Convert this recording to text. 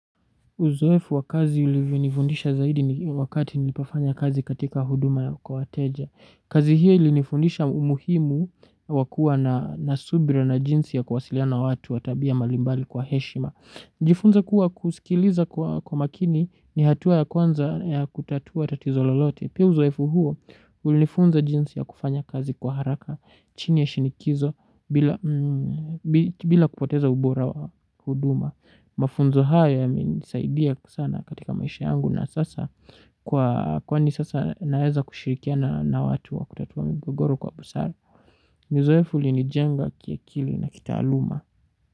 Uzoefu wa kazi uliyonifundisha zaidi wakati nilipofanya kazi katika huduma ya wateja. Kazi hiyo ilinifundisha umuhimu wa kuwa na subira na jinsi ya kuwasiliana watu wa tabia mbalimbali kwa heshima. Nilijifunza kuwa kuskiliza kwa makini ni hatua ya kwanza ya kutatua tatizo lolote. Pia uzoefu huo ulifunza jinsi ya kufanya kazi kwa haraka chini ya shinikizo bila kupoteza ubora wa huduma. Mafunzo haya yamenisaidia sana katika maisha yangu na sasa naweza kushirikiana watu wa kutatua mgogoro kwa busara uzoefu ulinijenga kiakili na kitaaluma.